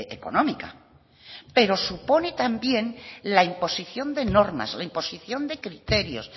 económica pero supone también la imposición de normas la imposición de criterios